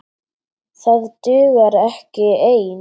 Það dugar ekki ein!